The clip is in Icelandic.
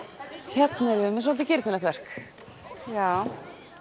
hérna erum við með svolítið girnilegt verk já